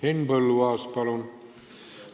Henn Põlluaas, palun!